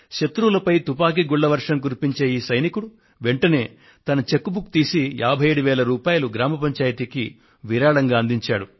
శత్రువులపై తుపాకీ గుళ్ల వర్షాన్ని కురిపించే ఈ సైనికుడు వెంటనే తన చెక్ బుక్ తీసి 57000 రూపాయలను గ్రామ పంచాయతీకి విరాళంగా అందించాడు